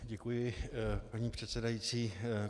Děkuji, paní předsedající.